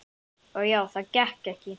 Og já, það gekk ekki.